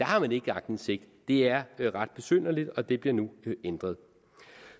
har man ikke aktindsigt det er ret besynderligt og det bliver nu ændret